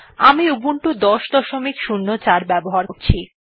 আমি উবুন্টু ১০০৪ ব্যবহার করছি